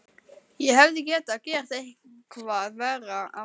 Ég hefði getað gert eitthvað verra af mér.